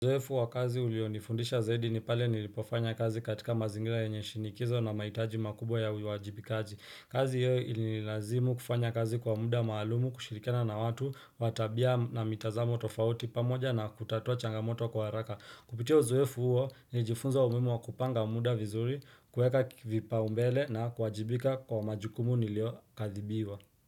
Uzoefu wa kazi ulionifundisha zaidi ni pale nilipofanya kazi katika mazingira yenye shinikizo na mahitaji makubwa ya uiwajibikaji. Kazi hiyo ililazimu kufanya kazi kwa muda maalumu kushirikiana na watu wa tabia na mitazamo tofauti pamoja na kutatua changamoto kwa haraka. Kupitia uzoefu huo nilijifunza umuhimu wa kupanga muda vizuri kueka vipao mbele na kuwajibika kwa majukumu nilio adhibiwa.